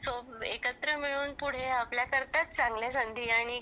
एकत्र मिळून पुढे आपण आपल्याकरता चांगलया संधी आणि